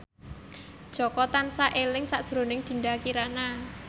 Jaka tansah eling sakjroning Dinda Kirana